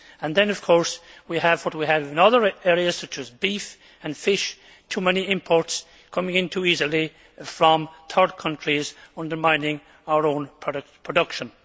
Then, of course, we have what we have in other areas, such as beef and fish too many imports coming in too easily from third countries and undermining our own production.